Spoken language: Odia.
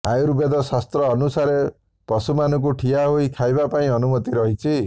ଆୟୁର୍ବେଦ ଶାସ୍ତ୍ର ଅନୁସାରେ ପଶୁମାନଙ୍କୁ ଠିଆ ହୋଇ ଖାଇବା ପାଇଁ ଅନୁମତି ରହିଛି